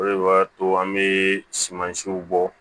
O de b'a to an bɛ sumansiw bɔ